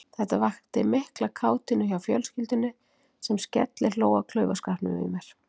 Þetta vakti mikla kátínu hjá fjölskyldunni sem skellihló að klaufaskapnum í mér.